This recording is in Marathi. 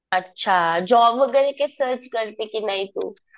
अच्छा. जॉब वगैरे काही सर्च करते कि नाही तू?